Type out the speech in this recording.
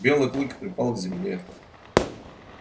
белый клык припал к земле